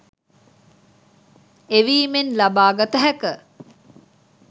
එවීමෙන් ලබාගත හැක